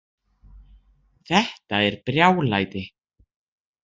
Þetta er brjálæði